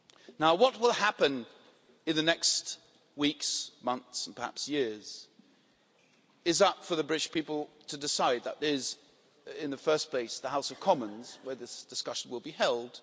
Now, what will happen in the next weeks, months and perhaps years is up to the British people to decide which means, in the first place, up to the House of Commons, where this discussion will be held.